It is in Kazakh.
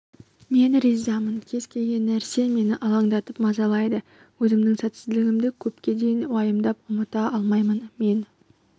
мен ризамын кез келген нәрсе мені алаңдатып мазалайды өзімнің сәтсіздігімді көпке дейін уайымдап ұмыта алмаймын мен